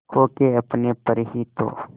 खो के अपने पर ही तो